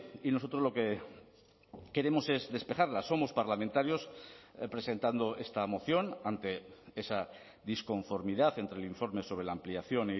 y nosotros lo que queremos es despejarlas somos parlamentarios presentando esta moción ante esa disconformidad entre el informe sobre la ampliación